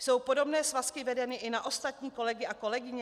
Jsou podobné svazky vedeny i na ostatní kolegy a kolegyně?